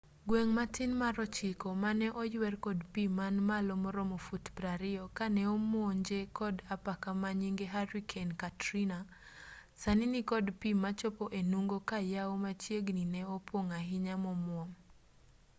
gweng' matin mar ochiko mane oywer kod pii man malo maromo fut 20 kane omonje kod apaka manyinge hurricane katrina sani nikod pi machopo e nungo ka yawo machiegni ne opong' ahinya momuom